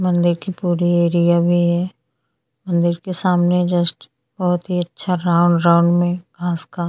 मंदिर की पूरी एरिया भी है मंदिर के सामने जस्ट बहुत ही अच्छा राउंड - राउंड में घास का--